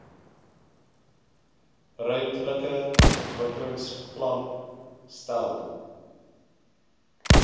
ruimtelike ontwikkelingsplan stel